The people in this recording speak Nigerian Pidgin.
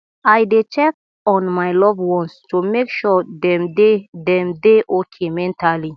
i dey check on my loved ones to make sure dem dey dem dey okay mentally